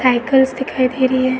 Cycles दिखाई दे रही है।